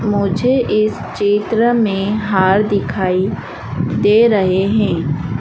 मुझे इस चित्र में हार दिखाई दे रहे है।